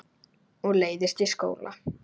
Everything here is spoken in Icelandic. Og leiðist í skóla.